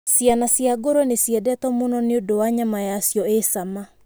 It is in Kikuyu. Ciana cia ngũrũe nĩ ciendetwo mũno nĩ ũndũ wa nyama yacio ĩ cama.